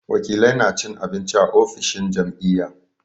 Wakilai na cin abinci a ofishin jam'iyya.